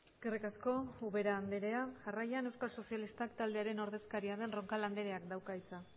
eskerrik asko ubera andrea jarraian euskal sozialistak taldearen ordezkaria den roncal andreak dauka hitza